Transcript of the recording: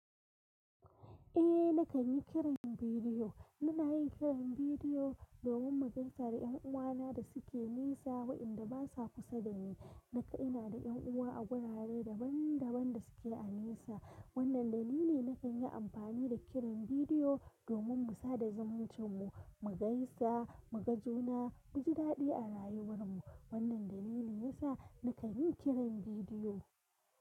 Eh na kan yi kiran bidiyo. Muna yi kiran bidiyo domin mu gaisa da 'yan uwana da suke nesa waƴanda ba sa kusa da ni. Daka ina da 'yan uwa a wurare daban-daban da suke a nesa. Wannan dalili ne na kan yi amfani da kiran bidiyo domin mu sada zumuncin mu, mu gaisa, mu gajuna, mu ji daɗi a rayuwar mu. Wannan dalili ne ya sa na kan yi kiran bidiyo.